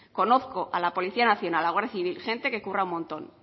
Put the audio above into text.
conozco a la policía nacional a guardia civil gente que curra un montón